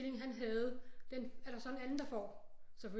Stilling han havde den er der så en anden der får